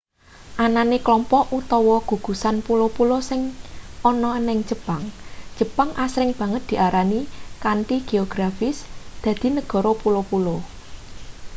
anane klompok/gugusan pulo-pulo sing ana ning jepang jepang asring banget diarani kanthi geografis dadi negara pulo-pulo